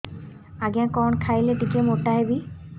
ଆଜ୍ଞା କଣ୍ ଖାଇଲେ ଟିକିଏ ମୋଟା ହେବି